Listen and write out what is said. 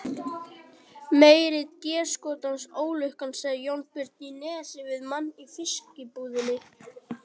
Meiri déskotans ólukkan, sagði Jónbjörn í Nesi við mann í fiskbúðinni.